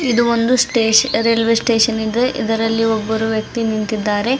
ಇದು ಒಂದು ಸ್ಟೇಷ್ ರೈಲ್ವೇ ಸ್ಟೇಷನ್ ಇದೆ ಇದರಲ್ಲಿ ಒಬ್ಬರು ವ್ಯಕ್ತಿ ನಿಂತಿದ್ದಾರೆ.